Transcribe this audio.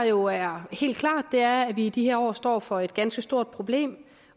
jo er helt klart er at vi i de her år står over for et ganske stort problem